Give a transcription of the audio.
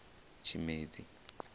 tshimedzi